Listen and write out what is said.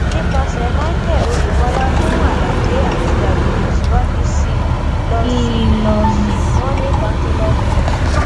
nípasẹ michael oyebola fún àlàyé àti àyèwò síwájú sí i lọ sí i lọ sí moneycounsellorscom